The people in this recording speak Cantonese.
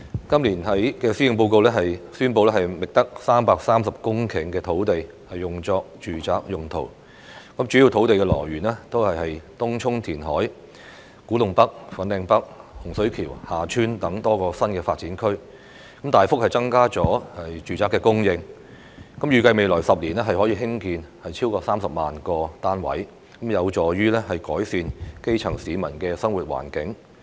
今年的施政報告宣布覓得330公頃土地用作住宅用途，主要土地來源是東涌填海、古洞北/粉嶺北、洪水橋/厦村等多個新發展區，大幅增加了住宅供應，預計未來10年可興建超過30萬個單位，有助於改善基層市民的生活環境。